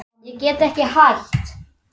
Ég get ekki hætt.